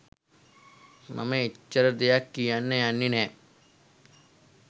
මම එච්චර දෙයක් කියන්න යන්නේ නෑ.